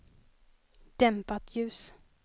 dämpat ljus